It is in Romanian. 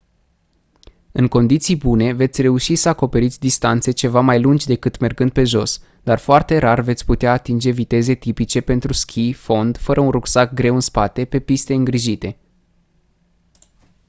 în condiții bune veți reuși să acoperiți distanțe ceva mai lungi decât mergând pe jos dar foarte rar veți putea atinge viteze tipice pentru schi fond fără un rucsac greu în spate pe piste îngrijite